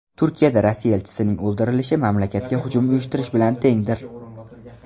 Turkiyada Rossiya elchisining o‘ldirilishi mamlakatga hujum uyushtirish bilan tengdir.